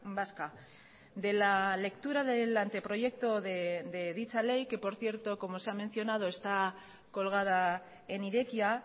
vasca de la lectura del anteproyecto de dicha ley que por cierto como se ha mencionado está colgada en irekia